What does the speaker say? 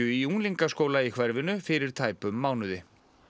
í unglingaskóla í hverfinu fyrir tæpum mánuði